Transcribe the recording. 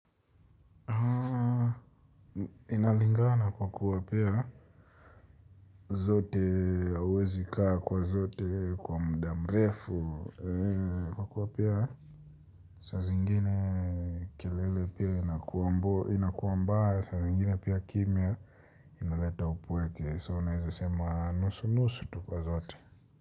Inalingana na kwa kuwa pia zote hawezi kaa kwa zote kwa muda mrefu. Kwa kuwa pia saa zingine kelele pia inakuwa mbaya. Saa zingine pia kimya inaleta upueke so naeza sema nusu nusu tupa zote.